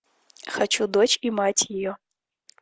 хочу дочь и мать ее